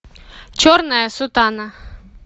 черная сутана